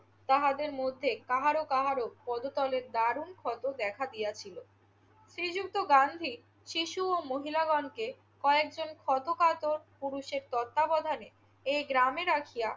তাহাদের মধ্যে কাহারো কাহারো পদতলে দারুণ ক্ষত দেখা গিয়াছিল। শ্রীযুক্ত গান্ধী শিশু ও মহিলাগণকে কয়েকজন ছোটখাটো পুরুষের তত্বাবধানে এই গ্রামে রাখিয়া